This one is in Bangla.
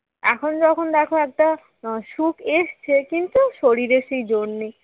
এখন যখন দেখো একটা সুখ এসেছে কিন্তু শরীরের সেই জোর নেই।